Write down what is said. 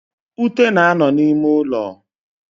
Ute na-ano n'ime ulo.